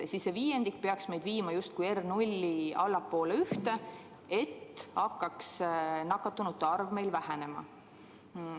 See abinõu peaks justkui viima R0 allapoole ühte ja siis hakkaks nakatunute arv meil vähenema.